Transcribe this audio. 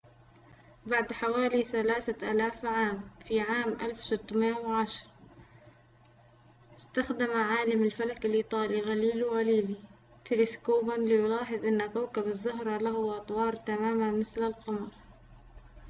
بعد حوالي ثلاثة آلاف عام في عام 1610 استخدم عالم الفلك الإيطالي غاليليو غاليلي تلسكوباً ليلاحظ أن كوكب الزهرة له أطوار تماماً مثل القمر